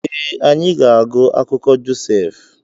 Ee, anyị ga-agụ akụkọ Josef.